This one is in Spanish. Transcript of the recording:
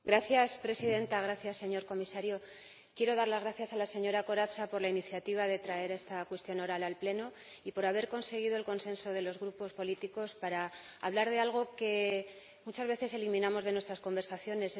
Señora Presidenta, señor Comisario, quiero dar las gracias a la señora Corazza por la iniciativa de traer esta pregunta oral al Pleno y por haber conseguido el consenso de los grupos políticos para hablar de algo que muchas veces eliminamos de nuestras conversaciones.